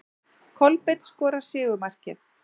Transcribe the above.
Kolbeinn skorar sigurmarkið.